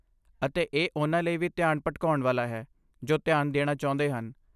ਅਤੇ ਇਹ ਉਹਨਾਂ ਲਈ ਵੀ ਧਿਆਨ ਭਟਕਾਉਣ ਵਾਲਾ ਹੈ ਜੋ ਧਿਆਨ ਦੇਣਾ ਚਾਹੁੰਦੇ ਹਨ।